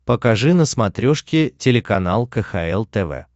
покажи на смотрешке телеканал кхл тв